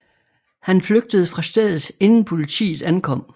Han flygtede fra stedet inden politiet ankom